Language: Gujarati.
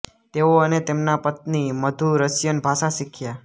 તેઓ અને તેમના પત્ની મધુ રશિયન ભાષા શીખ્યા